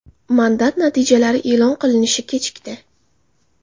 Mandat natijalari e’lon qilinishi kechikdi.